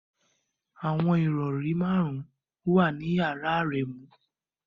Awọn irọri marun wa ni yara Aremu